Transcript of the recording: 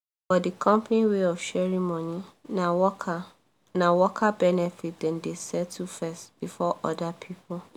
for the company way of sharing money na worker na worker benefit dem dey settle first before other people